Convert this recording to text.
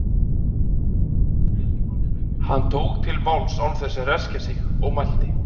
Hann tók til máls án þess að ræskja sig og mælti